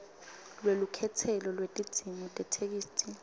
lwelukhetselo lwetidzingo tetheksthi